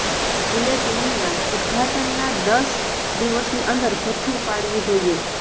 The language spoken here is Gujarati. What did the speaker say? બુલેટિનના ઉદઘાટનના દસ દિવસની અંદર ભથ્થું ઉપાડવું જોઈએ